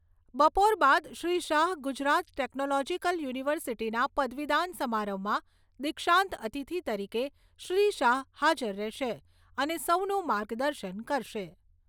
બપોર બાદ શ્રી શાહ ગુજરાત ટેકનોલોજીકલ યુનિવર્સિટીના પદવીદાન સમારંભમાં દીક્ષાંત અતિથિ તરીકે શ્રી શાહ હાજર રહેશે અને સૌનું માર્ગદર્શન કરશે.